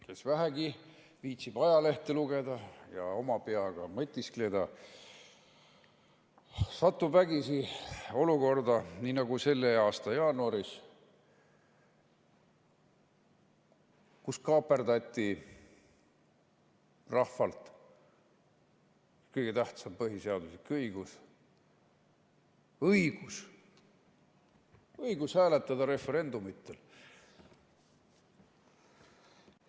Kes vähegi viitsib ajalehte lugeda ja oma peaga mõtiskleda, satub vägisi olukorda, nii nagu selle aasta jaanuaris, kus kaaperdati rahvalt kõige tähtsam põhiseaduslik õigus: õigus hääletada referendumitel.